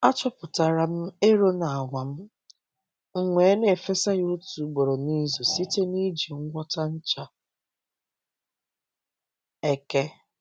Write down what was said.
Achọpụtara m ero na agwa m, m wee na-efesa ya otu ugboro n’izu site n’iji ngwọta ncha eke.